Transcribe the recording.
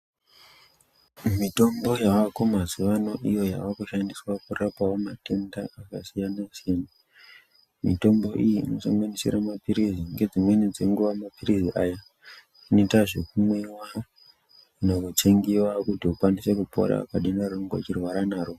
Mitombo yavako mazuvano iyo yava kushandiswa kurapawo matenda akasiyana siyana mitombo iyi ino sanganisira mapirizi nedzimweni dzenguva mapirizi anoita zvekumwiwa kana kutsengiwa kuti ukwanise kupora padenda raunga uchirwara naro.